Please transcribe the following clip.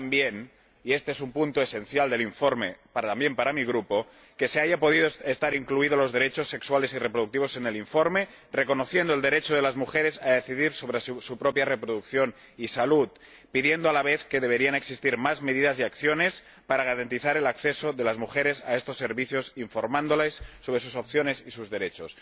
Y también —y este es un punto esencial del informe también para mi Grupo— que se hayan podido incluir los derechos sexuales y reproductivos en el informe, reconociendo el derecho de las mujeres a decidir sobre su propia reproducción y salud, pidiendo, a la vez, que existan más medidas y acciones para garantizar el acceso de las mujeres a estos servicios, e informándolas sobre sus opciones y sus derechos.